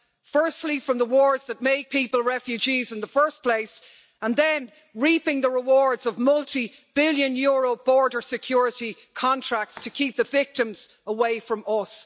Firstly, from the wars that make people refugees in the first place and then reaping the rewards of multi billion euro border security contracts to keep the victims away from us.